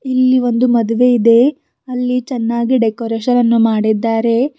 ಇಲ್ಲಿ ಒಂದು ಮದುವೆ ಇದೆ ಅಲ್ಲಿ ಚೆನ್ನಾಗಿ ಡೆಕೋರೇಷನ್ ಅನ್ನು ಮಾಡಿದ್ದಾರೆ.